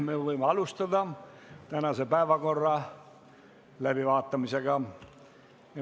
Me võime alustada tänase päevakorra läbivaatamist.